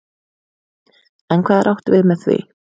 En hvað er átt við með því?